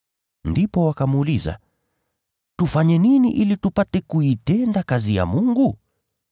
Ndipo wakamuuliza, “Tufanye nini ili tupate kuitenda kazi ya Mungu?”